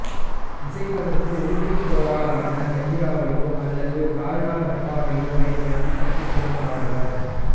இசைப்பதற்கு உடும்புத் தோலால் ஆன கிஞ்சிராவையோ அல்லது டால்டா டப்பாவையோப் பயன்படுத்தித் தட்டிக்கொண்டு ஆடுவர்